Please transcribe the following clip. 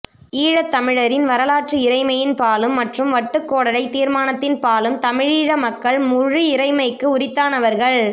ஈழத்தமிழரின் வரலாற்று இறைமையின் பாலும் மற்றும் வட்டுக்கோடடைத் தீர்மானத்தின் பாலும் தமிழீழ மக்கள் முழு இறைமைக்கு உரித்தானவர்கள்